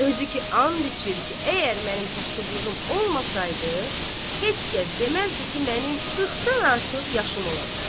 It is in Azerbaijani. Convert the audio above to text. Özü ki and içir ki, əgər mənim kasıblığım olmasaydı, heç kəs deməzdi ki, mənim 40-dan artıq yaşım ola bilər.